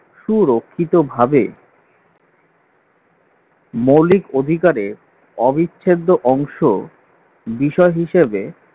সুরক্ষিতভাবে মৌলিক অধিকারের অবিচ্ছেদ্য অংশ বিষয় হিসেবে